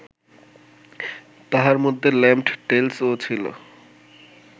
তাহার মধ্যে Lamb’d Tales ও ছিল